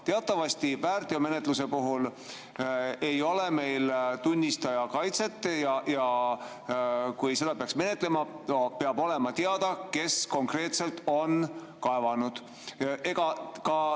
Teatavasti väärteomenetluse puhul ei ole meil tunnistajakaitset ja kui seda menetletakse, peab olema teada, kes konkreetselt on kaevanud.